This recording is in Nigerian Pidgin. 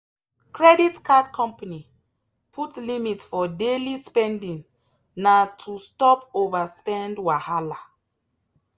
credit card company put limit for daily spending na to stop overspend wahala.